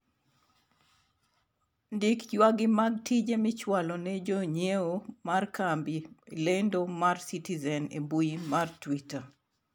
ndik ywag'gi mag tije michwalo ne jonyiewo mar kambi lendo mar citizen e mbui mar twita